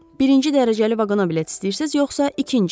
Birinci dərəcəli vaqona bilet istəyirsiz, yoxsa ikinci?